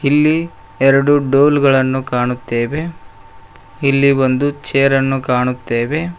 ಇಲ್ಲಿ ಎರಡು ಡೊಲಗಳನ್ನು ಕಾಣುತ್ತೇವೆ ಇಲ್ಲಿ ಒಂದು ಚೇರನ್ನು ಕಾಣುತ್ತೇವೆ.